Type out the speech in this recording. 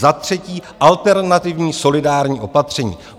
Za třetí alternativní solidární opatření.